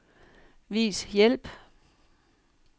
Vis hjælp.